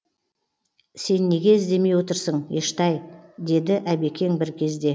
сен неге іздемей отырсың ештай деді әбекең бір кезде